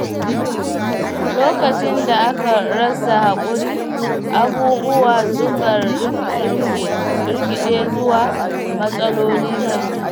Lokacin da aka rasa haƙuri, abubuwa sukan rikiɗe zuwa matsaloli manya.